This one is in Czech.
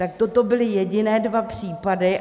Tak toto byly jediné dva případy.